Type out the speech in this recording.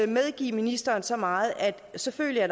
medgive ministeren så meget at der selvfølgelig er